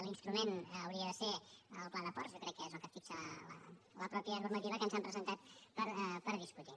l’instrument hauria de ser el pla de ports jo crec que és el que fixa la mateixa normativa que ens han presentat per discutir